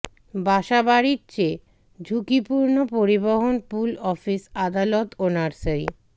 বাসাবাড়ির চেয়ে ঝুঁকিপূর্ণ পরিবহন পুল অফিস আদালত ও নার্সারি